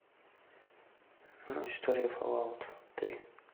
история фаллаут три